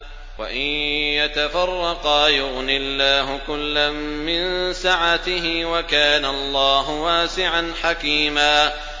وَإِن يَتَفَرَّقَا يُغْنِ اللَّهُ كُلًّا مِّن سَعَتِهِ ۚ وَكَانَ اللَّهُ وَاسِعًا حَكِيمًا